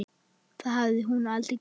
Það hafði hún aldrei gert.